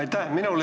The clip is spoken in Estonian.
Aitäh!